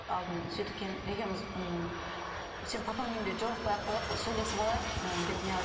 алдын екеуміз м сенің папаңның үйінде жолықпай ақ қояйық сөйлесіп алайық ы деп